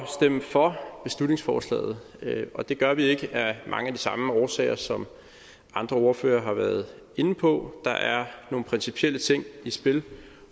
stemme for beslutningsforslaget og det gør vi ikke af mange af de samme årsager som andre ordførere har været inde på der er nogle principielle ting i spil